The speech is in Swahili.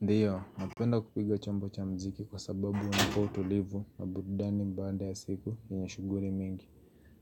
Ndio, napenda kupiga chombo cha muziki kwa sababu unanipa utulivu na burudani baada ya siku yenye shughuli mingi.